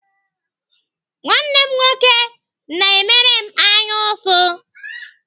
Nwanne m nwoke na-emere m anyaụfụ.